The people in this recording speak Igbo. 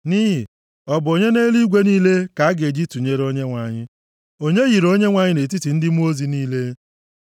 Nʼihi, ọ bụ onye nʼeluigwe niile, ka a ga-eji tụnyere Onyenwe anyị? Onye yiri Onyenwe anyị nʼetiti ndị mmụọ ozi niile?